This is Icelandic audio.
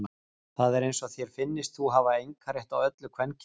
Það er eins og þér finnist þú hafa einkarétt á öllu kvenkyns.